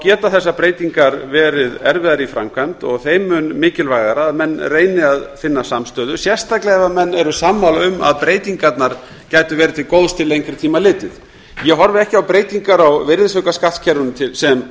geta þessar breytingar verið erfiðar í framkvæmd og þeim mun mikilvægara að menn reyni að finna samstöðu sérstaklega ef menn eru sammála um að breytingarnar gætu verið til góðs til lengri tíma litið ég horfi ekki á breytingar á virðisaukaskattskerfinu sem